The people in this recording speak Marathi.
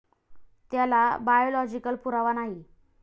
त्याला बायोलॉजिकल पुरावा नाही.